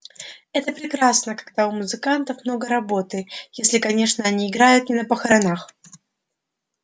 это прекрасно когда у музыкантов много работы если конечно они играют не на похоронах